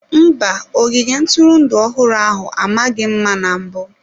Mba, ogige ntụrụndụ ọhụrụ ahụ amaghị mma na mbụ.